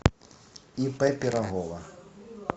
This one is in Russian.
ип пирогова